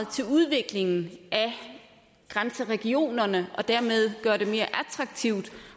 til udviklingen af grænseregionerne og dermed gøre det mere attraktivt